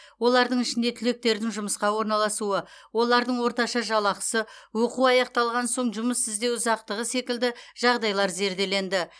олардың ішінде түлектердің жұмысқа орналасуы олардың орташа жалақысы оқу аяқталған соң жұмыс іздеу ұзақтығы секілді жағдайлар зерделенді